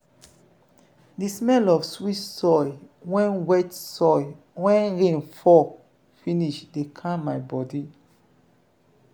the smell of wet soil wen wet soil wen rain fall finish dey calm my bodi.